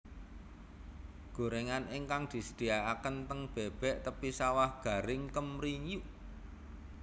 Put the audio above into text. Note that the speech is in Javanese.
Gorengan ingkang disediaken ten Bebek Tepi Sawah garing kemriyuk